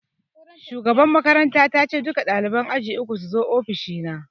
Shugaban makaranta ta ce 'Duka ɗaliban aji uku suzo ofishi na'!